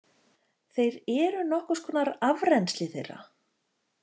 Þeir eru nokkurs konar afrennsli þeirra.